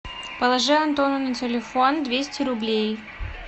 положи антону на телефон двести рублей